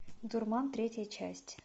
дурман третья часть